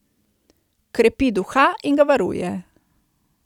Krepi duha in ga varuje.